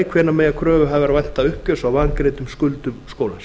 annars hvenær mega kröfuhafar vænta uppgjörs á vangreiddum skuldum skólans